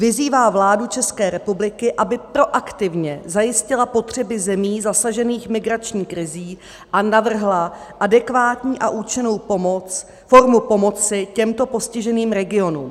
Vyzývá vládu České republiky, aby proaktivně zajistila potřeby zemí zasažených migrační krizí a navrhla adekvátní a účinnou formu pomoci těmto postiženým regionům.